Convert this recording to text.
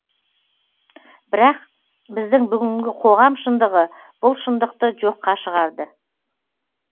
бірақ біздің бүгінгі қоғам шындығы бұл шындықты жоққа шығарды